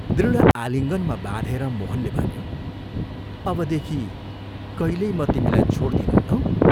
" दृढ आलिङ्गनमा बाँधेर मोहनले भन्यो, "अबदेखि कहिल्यै म तिमीलाई छोड्दिनँ लौ?